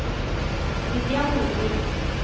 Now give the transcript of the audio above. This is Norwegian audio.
Vivian Nordvik